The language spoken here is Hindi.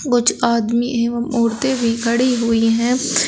कुछ आदमी एवं औरतें भी खड़ी हुई है।